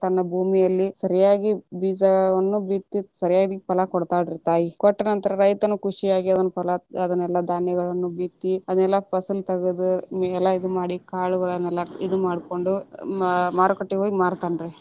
ಭೂಮಿಯಲ್ಲಿ ಸರಿಯಾಗಿ ಬೀಜವನ್ನು ಬಿತ್ತಿ ಸರಿಯಾಗಿ ಫಲಾ ಕೊಡ್ತಾಳ ರೀ ತಾಯಿ, ಕೊಟ್ಟ ನಂತರ ರೈತನು ಖುಷಿಯಾಗಿ ಅದನ್ನ ಫಲಾ ಅದನ್ನೆಲ್ಲಾ ಧಾನ್ಯಗಳನ್ನೂ ಬಿತ್ತಿ ಅದನ್ನೆಲ್ಲಾ ಫಸಲ ತಗದ ಎಲ್ಲಾ ಇದ ಮಾಡಿ ಕಾಳ್ಗಳನ್ನೆಲ್ಲ ಇದು ಮಾಡ್ಕೊಂಡು ಮಾರುಕಟ್ಟೆಗ ಹೋಗಿ ಮಾರತಾನ ರೀ.